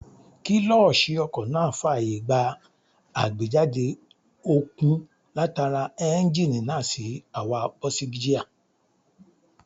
Kílọ̀ṣì ọkọ̀ náà fàyè gba àgbéjáde okun látara éúnjínì náà sí àwa bọ́ọ̀sìgíà